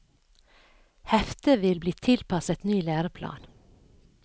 Heftet vil bli tilpasset ny læreplan.